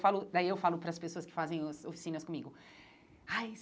Eu falo Daí eu falo para as pessoas que fazem os oficinas comigo.